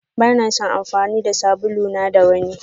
Bana son amfani da sabulu na da wanni.